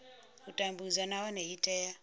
u tambudzwa nahone i tea